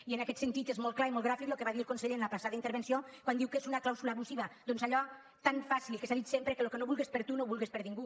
i en aquest sentit és molt clar i molt gràfic el que va dir el conseller en la passada intervenció quan diu què és una clàusula abusiva doncs allò tan fàcil que s’ha dit sempre que el que no vulgues per a tu no ho vulgues per a ningú